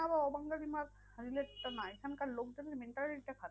অবাঙালি মার relay টা না এখানকার লোকজনের mentality টা খারাপ।